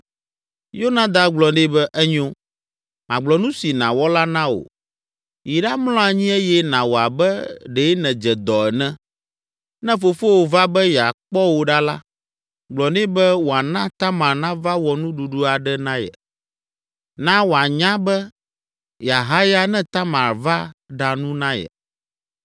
Yonadab gblɔ nɛ be, “Enyo, magblɔ nu si nàwɔ la na wò. Yi ɖamlɔ anyi eye nàwɔ abe ɖe nèdze dɔ ene. Ne fofowò va be yeakpɔ wò ɖa la, gblɔ nɛ be wòana Tamar nava wɔ nuɖuɖu aɖe na ye. Na wòanya be yeahaya ne Tamar va ɖa nu na ye.”